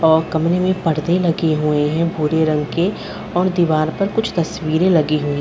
और कमरे में पर्दे लगे हुए हैं भूरे रंग के और दीवार पर कुछ तस्वीरें लगी हुई।